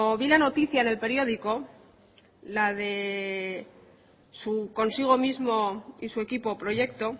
vi la noticia en el periódico la de su consigo mismo y su equipo proyecto